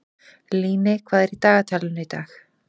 Líney, hvað er í dagatalinu í dag?